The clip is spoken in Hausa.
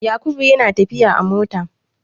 Yakubu yana tafiya a mota.